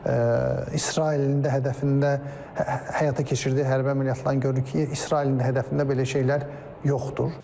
İsrailin də hədəfində həyata keçirdiyi hərbi əməliyyatların görürük ki, İsrailin də hədəfində belə şeylər yoxdur.